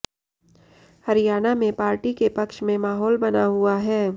हरियाणा में पार्टी के पक्ष में माहौल बना हुआ है